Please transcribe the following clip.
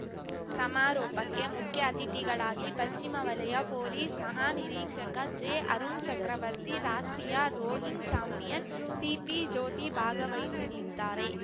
ಸಮಾರೋಪಕ್ಕೆ ಮುಖ್ಯ ಅತಿಥಿಗಳಾಗಿ ಪಶ್ಚಿಮ ವಲಯ ಪೊಲೀಸ್‌ ಮಹಾನಿರೀಕ್ಷಕ ಜೆಅರುಣ್‌ ಚಕ್ರವರ್ತಿ ರಾಷ್ಟ್ರೀಯ ರೋಯಿಂಗ್‌ ಚಾಂಪಿಯನ್‌ ಸಿಪಿಜ್ಯೋತಿ ಭಾಗವಹಿಸಲಿದ್ದಾರೆ